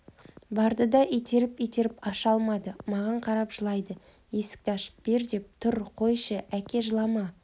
барды да итеріп-итеріп аша алмады маған қарап жылайды есікті ашып бер деп тұр қойшы әке жылама